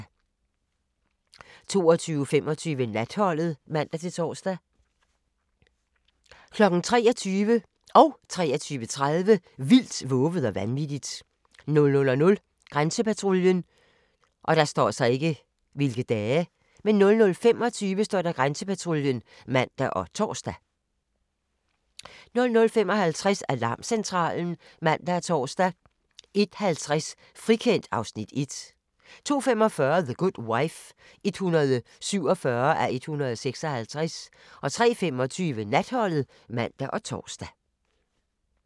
22:25: Natholdet (man-tor) 23:00: Vildt, vovet og vanvittigt 23:30: Vildt, vovet og vanvittigt 00:00: Grænsepatruljen 00:25: Grænsepatruljen (man og tor) 00:55: Alarmcentralen (man og tor) 01:50: Frikendt (Afs. 1) 02:45: The Good Wife (147:156) 03:25: Natholdet (man og tor)